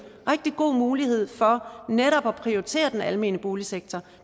rigtig god mulighed for netop at prioritere den almene boligsektor